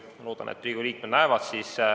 Ma loodan, et Riigikogu liikmed neid näevad.